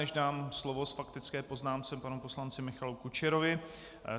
Než dám slovo k faktické poznámce panu poslanci Michalu Kučerovi,